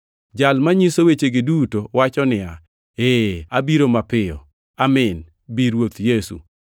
Jal manyiso wechegi duto wacho niya, “Ee, abiro mapiyo.” Amin! Bi, Ruoth Yesu.